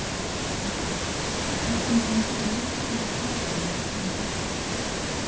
Ásgeir: Og hvernig gengur að leikstýra krökkum sem þessu?